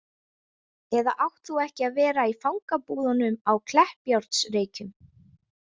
Eða átt þú ekki að vera í fangabúðunum á Kleppjárnsreykjum